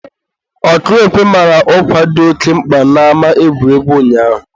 ọkụ ekwe mara ọkwa dị oke mkpa n'ama egwuregwu ụnyaahụ.